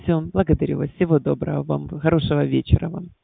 все благодарю вас всего доброго вам хорошего вечера вам